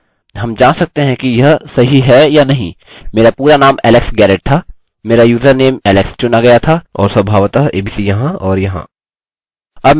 हम जाँच सकते हैं कि यह सही है या नहीं मेरा पूरा नाम alex garrett था मेरा यूजरनेम alex चुना गया था और स्वभावतः abc यहाँ और यहाँ